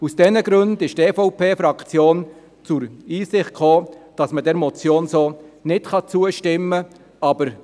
Aus diesen Gründen ist die EVP-Fraktion zur Einsicht gelangt, dass dieser Motion nicht zugestimmt werden kann.